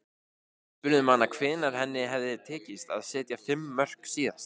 Við spurðum hana hvenær henni hefði tekist að setja fimm mörk síðast.